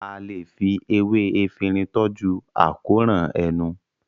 a lẹ fí ewé Efinrin toju àkóràn ẹnu.